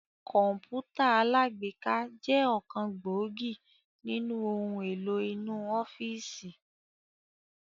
Kọ̀npútà alágbéká jẹ ọ̀kan gbòógì nínú ohun èlò inú ọ́fíìsì